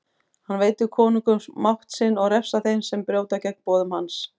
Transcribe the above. Hann veitir konungum mátt sinn og refsar þeim sem brjóta gegn boðum hans.